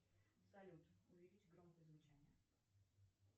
салют увеличь громкость звучания